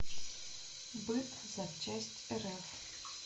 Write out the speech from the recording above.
бытзапчастьрф